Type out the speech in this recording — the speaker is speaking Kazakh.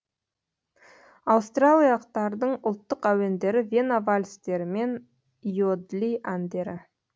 аустриялақтардың ұлттық әуендері вена вальстері мен иодли әндері